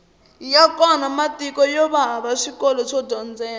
ya kona matiko yova hava swikolo swo dyondzela